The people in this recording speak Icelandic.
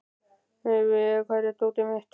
Leivi, hvar er dótið mitt?